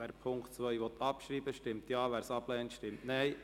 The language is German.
Wer den Punkt 2 abschreiben will, stimmt Ja, wer dies ablehnt, stimmt Nein.